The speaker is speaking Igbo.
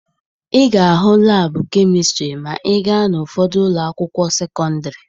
Ị ga-ahụ laabụ kemistịrị ma ị gaa n'ụfọdụ ụlọ akwụkwọ sekọndịrị.